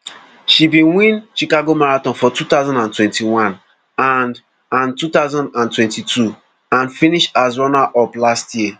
she bin win chicago marathon for two thousand and twenty-one and and two thousand and twenty-two and finish as runnerup last year